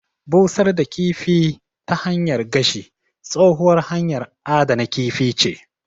Busar da kifi ta hanyar gashi, tsohuwar hanyar adana kifi ce.